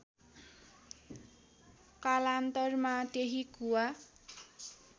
कालान्तारमा त्यही कुवा